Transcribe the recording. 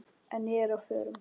En ég er á förum.